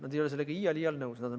Nad ei oleks iial sellega nõus.